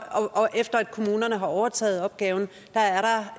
og efter kommunerne har overtaget opgaven